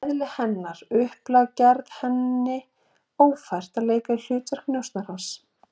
Eðli hennar og upplag gerði henni ófært að leika hlutverk njósnarans.